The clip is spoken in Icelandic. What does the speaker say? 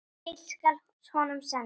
Heill skal honum senda.